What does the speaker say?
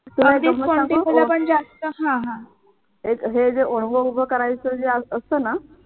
तुला एक गंमत सांगू हे जे ओणवे उभं करायचं जे असत ना